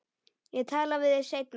Ég tala við þig seinna.